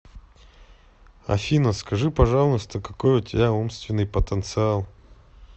афина скажи пожалуйста какой у тебя умственный потенциал